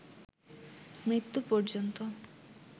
মৃত্যু পর্যন্ত